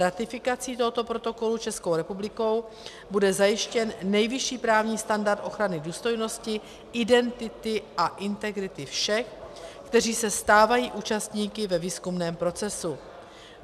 Ratifikací tohoto protokolu Českou republikou bude zajištěn nejvyšší právní standard ochrany důstojnosti, identity a integrity všech, kteří se stávají účastníky ve výzkumném procesu.